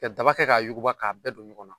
Ka daba kɛ k'a yuguba k'a bɛɛ don ɲɔgɔn na.